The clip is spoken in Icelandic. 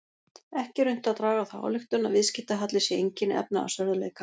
Ekki er unnt að draga þá ályktun að viðskiptahalli sé einkenni efnahagsörðugleika.